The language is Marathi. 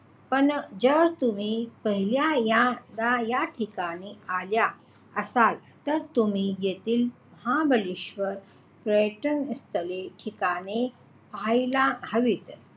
पण जर तुम्ही पहिल्यांदा या ठिकाणी आला असाल, तर तुम्ही येथील महाबळेश्वर पर्यटन स्थळे ठिकाणे पाहायला हवीत.